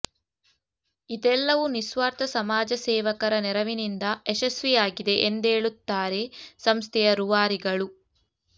ಇದೆಲ್ಲವೂ ನಿಸ್ವಾರ್ಥ ಸಮಾಜಸೇವಕರ ನೆರವಿನಿಂದ ಯಶಸ್ವಿ ಆಗಿದೆ ಎಂದೇಳುತ್ತಾರೆ ಸಂಸ್ಥೆಯ ರೂವಾರಿಗಳು